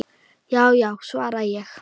Já já, svara ég.